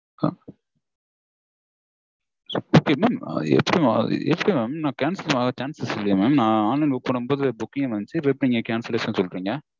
எப்படி Mam எப்படி Mam? நா cancel பண்லயே mam. நா online -ல book பண்ணும்போது booking -னு வந்துச்சு. இப்போ நீங்க எப்படி cancellation -னு சொல்றீங்க?